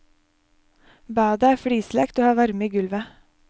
Badet er flislagt og har varme i gulvet.